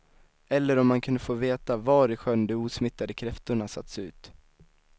Eller om han kunde få veta var i sjön de osmittade kräftorna satts ut.